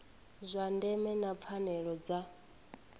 zwa ndeme na pfanelo dza